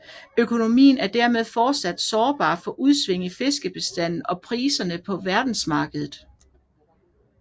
Økonomien er dermed fortsat sårbar for udsving i fiskebestanden og priserne på verdensmarkedet